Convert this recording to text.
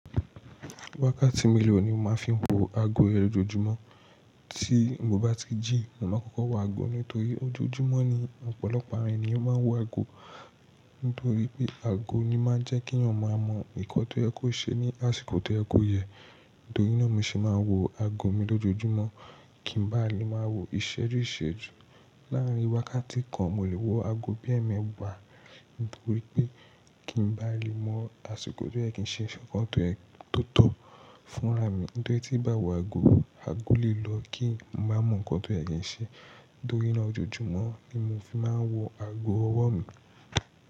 Wákàtí mélòó ni o máa ń fi wo ago ẹe lójojúmọ́? Tí mo bá ti jí, mo máa kọ́kọ́ wo ago nítorí ojoojúmọ́ ni ọ̀pọ̀lọpọ̀ àwọn ènìyàn máa ń wo ago. Nítorí pé ago ni máa ń jẹ́ kí èèyàn máa mọ nnkan tó yẹ kó ṣe ní àsìkò tó yẹ kó yẹ. Nítorí náà mo sì máa ń wo ago mi lójoojúmọ́ kí ń bá lè máa wo ìṣẹ́ju ìṣèjú. Láàárín wákàtí kan, mo lè wo ago bí ẹ́ẹ̀mẹ́wàá nítorí pé kí ń bá lè mọ̀ àsìkò tó yẹ kí ń ṣe ń ṣe nǹkan tó tọ́ fúnraà mi. Nítorí tí bá wo ago, ago lè lọ kí n má mọ̀ nǹkan tó yẹ kí ń ṣe. Nítorí náà ojoojúmọ́ ni mo fi máa ń wo ago ọwọ́ mi.